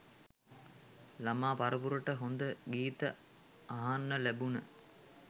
ළමා පරපුරට හොඳ ගීත අහන්න ලැබුන.